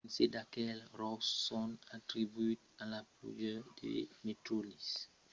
quinze d’aqueles ròcs son atribuïts a la pluèja de meteorits en julhet passat